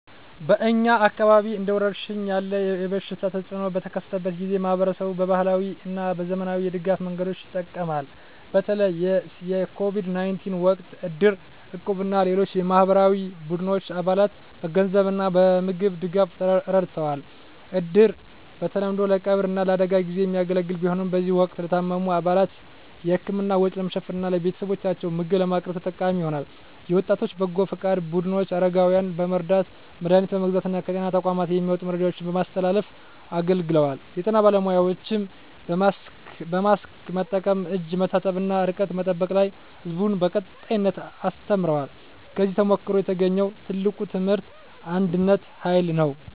በእኛ አካባቢ እንደ ወረርሽኝ ያለ የበሽታ ተፅእኖ በተከሰተበት ጊዜ፣ ማኅበረሰቡ በባህላዊ እና በዘመናዊ የድጋፍ መንገዶች ይጠቀማል። በተለይ የCOVID-19 ወቅት እድር፣ እቁብ እና ሌሎች የማኅበራዊ ቡድኖች አባላትን በገንዘብ እና በምግብ ድጋፍ ረድተዋል። እድር በተለምዶ ለቀብር እና ለአደጋ ጊዜ የሚያገለግል ቢሆንም፣ በዚህ ወቅት ለታመሙ አባላት የሕክምና ወጪ ለመሸፈን እና ለቤተሰቦቻቸው ምግብ ለማቅረብ ተጠቃሚ ሆኗል። የወጣቶች በጎ ፈቃድ ቡድኖች አረጋውያንን በመርዳት፣ መድሀኒት በመግዛት እና ከጤና ተቋማት የሚመጡ መረጃዎችን በማስተላለፍ አገልግለዋል። የጤና ባለሙያዎችም በማስክ መጠቀም፣ እጅ መታጠብ እና ርቀት መጠበቅ ላይ ሕዝቡን በቀጣይነት አስተምረዋል። ከዚህ ተሞክሮ የተገኘው ትልቁ ትምህርት የአንድነት ኃይል ነው።